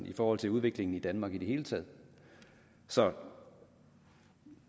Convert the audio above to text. i forhold til udviklingen i danmark i det hele taget så